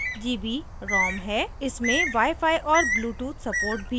इसमें wifi और bluetooth support भी है